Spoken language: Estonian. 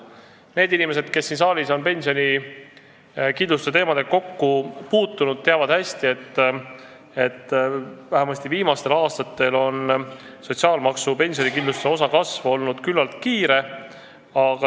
Need inimesed, kes siin saalis on pensionikindlustuse teemadega kokku puutunud, teavad hästi, et vähemasti viimastel aastatel on sotsiaalmaksu pensionikindlustuse osa kasv olnud küllaltki kiire.